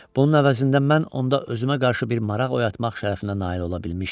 Bunun əvəzində mən onda özümə qarşı bir maraq oyatmaq şərəfinə nail ola bilmişdim.